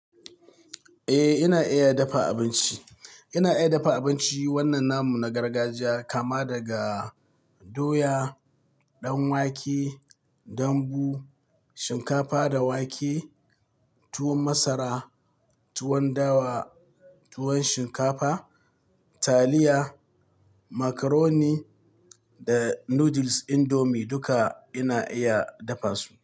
Eh, ina iya dafa abinci. Ina iya dafa abinci. Wannan namu na gargajiya kama daga doya, ɗan wake, dambu, shinkafa da wake, tuwon masara, tuwon dawa, tuwon shinkafa, taliya, macaroni da noodles indomie duka ina iya dafa su.